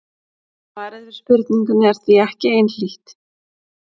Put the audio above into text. Svarið við spurningunni er því ekki einhlítt.